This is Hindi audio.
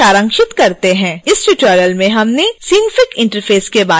इस ट्यूटोरियल में हमने synfig के इंटरफ़ेस के बारे में सीखा